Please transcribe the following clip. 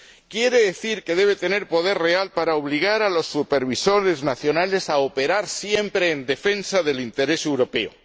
quiere decir que deben tener poder real para obligar a los supervisores nacionales a operar siempre en defensa del interés europeo.